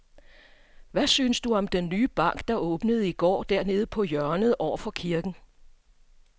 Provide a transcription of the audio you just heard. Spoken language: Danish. Hvad synes du om den nye bank, der åbnede i går dernede på hjørnet over for kirken?